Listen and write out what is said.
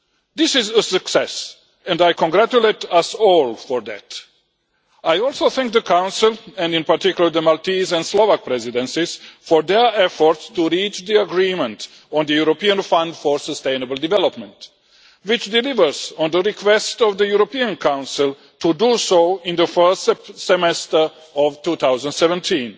This is a success and I congratulate us all for that. I also thank the Council, and in particular the Maltese and Slovak Presidencies, for their efforts to reach the agreement on the European Fund for Sustainable Development, which delivers on the request of the European Council to do so in the first semester of 2017.